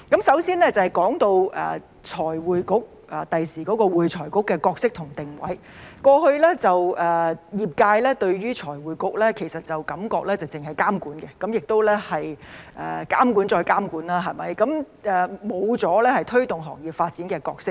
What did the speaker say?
首先，說到未來的會計及財務匯報局的角色及定位，過去業界感覺財務匯報局只是監管，即監管再監管，沒有推動行業發展的角色。